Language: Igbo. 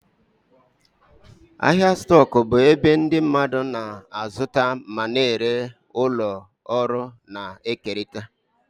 Ahịa stoku bụ ebe ndị mmadụ na-azụta ma na-ere ụlọ ọrụ na-ekerịta.